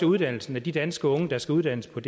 uddannelsen af de danske unge der skal uddannes på